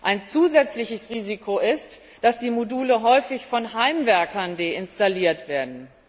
Ein zusätzliches Risiko ist, dass die Module häufig von Heimwerkern deinstalliert werden.